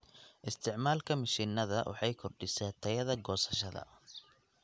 Isticmaalka mishiinada waxay kordhisaa tayada goosashada.